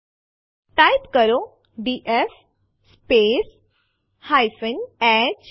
પરંતુ સામાન્ય રીતે રામદીર આદેશ ડિરેક્ટરી ખાલી હોય ત્યારે જ તે રદ કરે છે